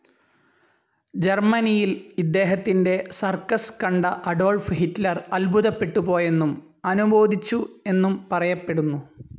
ജർമനിയിൽ ഇദ്ദേഹത്തിൻ്റെ സർക്കസ്‌ കണ്ട Adolf Hitler അത്ഭുതപെട്ടുപോയെന്നും അനുമോദിച്ചു എന്നും പറയപ്പെടുന്നു.